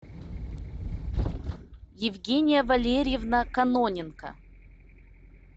евгения валерьевна каноненко